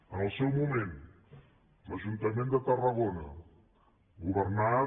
en el seu moment l’ajuntament de tarragona governat